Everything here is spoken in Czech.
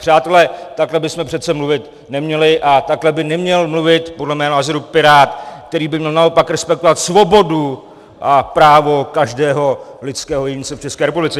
Přátelé, takhle bychom přece mluvit neměli a takhle by neměl mluvit podle mého názoru pirát, který by měl naopak respektovat svobodu a právo každého lidského jedince v České republice.